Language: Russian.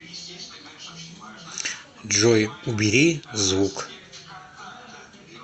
джой убери звук